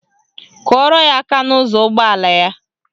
Kụọrọ ya aka n'ụzọ ụgbọala ya.